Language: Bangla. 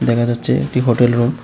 দেখা যাচ্ছে একটি হোটেল রুম ।